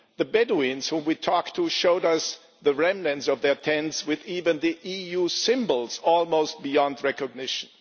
The Bedouins we talked to showed us the remnants of their tents with even the EU symbols almost beyond recognition.